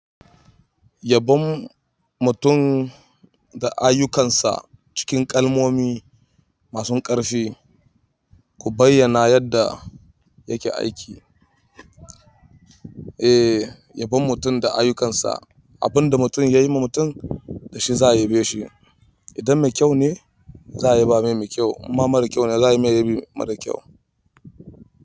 Yabon mutum da ayyukansa cikin kalmomi masun ƙarfi. Ku bayyana yadda yake aiki. Eh, yabon mutum da ayyukansa. Abin da mutum ya yi ma mutum da shi za a yabeshi. Idan mai kyau ne za a yaba mai me kyau. Imma mara kyau ne za a yi mai irin mara kyau.